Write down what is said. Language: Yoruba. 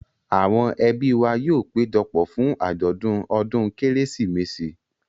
Àwọn ẹbí wa yóò péjọ pọ̀ fún àjọ̀dún ọdún Kérésìmesì.